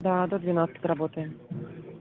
да до двенадцати работаем